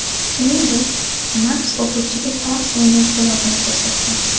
Shuningdek, Maks o‘quvchiga tog‘ suvining ko‘lobini ko‘rsatgan.